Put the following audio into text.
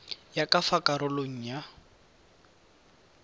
ya ka fa karolong ya